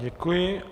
Děkuji.